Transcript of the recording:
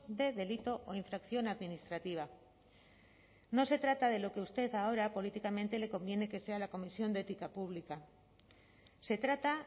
de delito o infracción administrativa no se trata de lo que usted ahora políticamente le conviene que sea la comisión de ética pública se trata